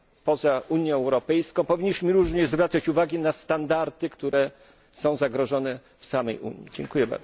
poza Unią Europejską, powinniśmy również zwracać uwagę na standardy, które są zagrożone w samej Unii.